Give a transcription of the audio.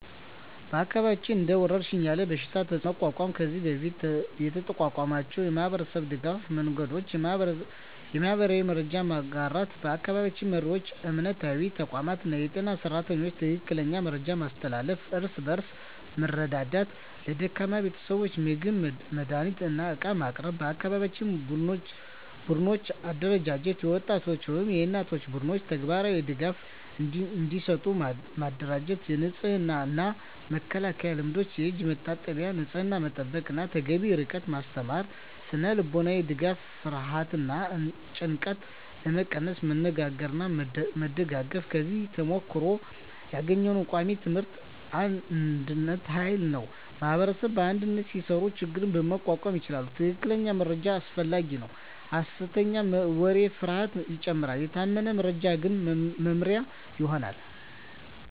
በአካባቢያችን እንደ ወረሽኝ ያለ በሽታ ተፅዕኖ ለመቋቋም ከዚህ በፊት የተጠቀምናቸው የማህበረሰብ ድገፍ መንገዶች :- የማህበራዊ መረጃ መጋራት በአካባቢ መሪዎች፣ እምነታዊ ተቋማት እና የጤና ሰራተኞች ትክክለኛ መረጃ ማስተላለፍ። እርስ በእርስ መርዳት ለደካማ ቤተሰቦች ምግብ፣ መድሃኒት እና ዕቃ ማቅረብ። የአካባቢ ቡድኖች አደራጀት የወጣቶች ወይም የእናቶች ቡድኖች ተግባራዊ ድጋፍ እንዲሰጡ ማደራጀት። የንጽህና እና መከላከያ ልምዶች የእጅ መታጠብ፣ ንጽህና መጠበቅ እና ተገቢ ርቀት ማስተማር። ስነ-ልቦናዊ ድጋፍ ፍርሃትን እና ጭንቀትን ለመቀነስ መነጋገርና መደጋገፍ። ከዚህ ተሞክሮ ያገኘነው ቃሚ ትምህርቶች አንድነት ኃይል ነው ማኅበረሰብ በአንድነት ሲሰራ ችግኝ መቋቋም ይቻላል። ትክክለኛ መረጃ አስፈላጊ ነው ሐሰተኛ ወሬ ፍርሃትን ይጨምራል፤ የታመነ መረጃ ግን መመሪያ ይሆናል።